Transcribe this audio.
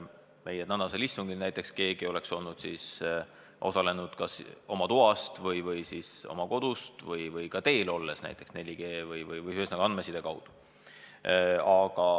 Meie tänasel istungil näiteks keegi osaleks kas oma toast lossis või siis oma kodust või ka kusagil teel olles, kasutades näiteks 4G-d või ühesõnaga andmesidet.